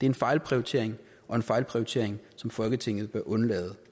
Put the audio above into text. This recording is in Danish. en fejlprioritering og en fejlprioritering som folketinget bør undlade